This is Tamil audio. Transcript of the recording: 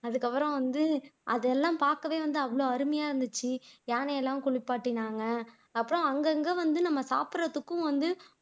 அதுக்கப்புறம் வந்து அதெல்லாம் பாக்கவே வந்து அவ்வளவு அருமையா இருந்துச்சு யானையெல்லாம் குளிப்பாட்டினாங்க அப்புறம் அங்கங்க வந்து நம்ம சாப்பிடுறதுக்கும் வந்து